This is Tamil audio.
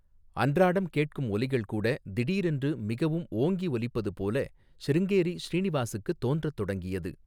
அன்றாடம் கேட்கும் ஒலிகள் கூட திடீரென்று மிகவும் ஓங்கி ஒலிப்பது போல சிருங்கேரி ஸ்ரீநிவாசுக்குத் தோன்றத் தொடங்கியது.